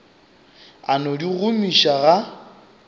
a no di gomiša ga